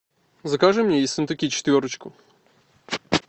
закажи мне ессентуки четверочку